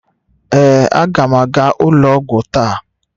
Ee, aga m aga ụlọ ọgwụ taa.